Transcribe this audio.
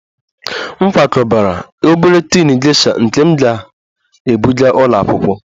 M kwakọbara obere tin gesha nke m ga-ebụga ụlọ akwụkwọ